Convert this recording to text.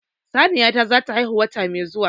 Saniya ta zata haihu wata mai zuwa